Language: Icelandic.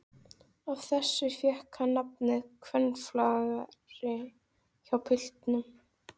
Af þessu fékk hann nafnið kvennaflagari hjá piltunum.